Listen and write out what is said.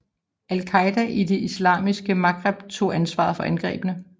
Al Qaida i det islamiske Maghreb tog ansvaret for angrebene